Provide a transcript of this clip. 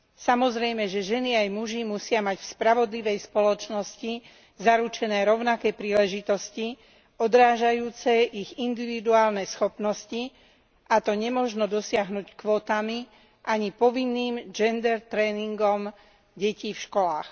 Samozrejme, že ženy aj muži musia mať vspravodlivej spoločnosti zaručené rovnaké príležitosti odrážajúce ich individuálne schopnosti, a to nemožno dosiahnuť kvótami, ani povinným gender tréningom detí vškolách.